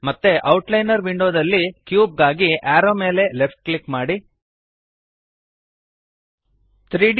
ಮತ್ತೆ ಔಟ್ಲೈನರ್ ವಿಂಡೋದಲ್ಲಿ ಕ್ಯೂಬ್ ಗಾಗಿ ಅರೋವ್ ದ ಮೇಲೆ ಲೆಫ್ಟ್ ಕ್ಲಿಕ್ ಮಾಡಿರಿ